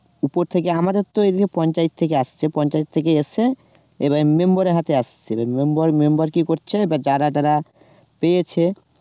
উপর থেকে আমাদের তো এমনি পঞ্চায়েত থেকে আসছে, পঞ্চায়েত থেকে এসেছে, এবার member এর হাতে আসছে, এবার member member কি করছে, এবার যারা যারা পেয়েছে